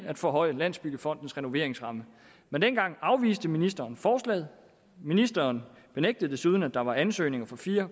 at forhøje landsbyggefondens renoveringsramme men dengang afviste ministeren forslaget ministeren benægtede desuden at der var ansøgninger for fire